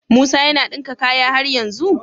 Musa yAna dinka kayan har yanzu?